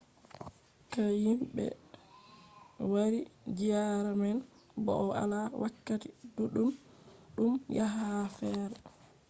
dikka himɓe wari ziyaara man bow ala wakkati ɗuɗɗum yaha ha fere